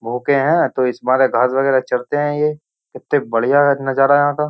भूखे हैं तो इस मारे घास वगैरह चरते हैं ये कितने बढ़िया नजारा यहां का।